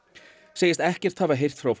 segir ekkert hafa heyrst frá